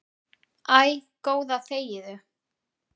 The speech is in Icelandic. Æ, góða þegiðu.